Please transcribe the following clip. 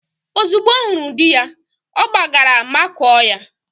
Ozugbo ọ hụrụ di ya, ọ gbagara makụọ ya.